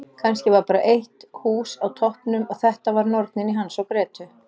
Kannski var bara eitt hús á toppnum og þetta var Nornin í Hans og Grétu.